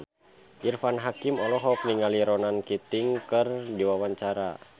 Irfan Hakim olohok ningali Ronan Keating keur diwawancara